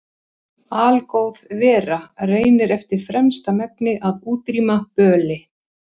Algóð vera reynir eftir fremsta megni að útrýma böli.